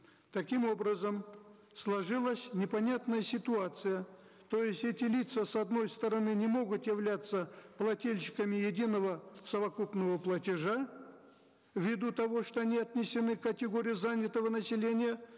таким образом сложилась непонятная ситуация то есть эти лица с одной стороны не могут являться плательщиками единого совокупного платежа в виду того что они отнесены к категории занятого населения